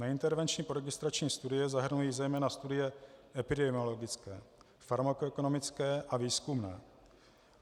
Neintervenční poregistrační studie zahrnují zejména studie epidemiologické, farmakoekonomické a výzkumné.